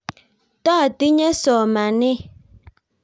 Totinye somanee.